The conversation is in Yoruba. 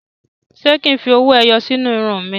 Ṣé kí n fi owó ẹyọ sí inú irun mi?